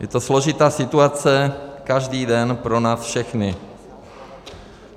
Je to složitá situace každý den pro nás všechny.